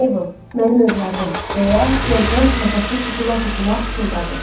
Meybel, mənim övladım, deyə serjant nəfəsi tutula-tutula pıçıldadı.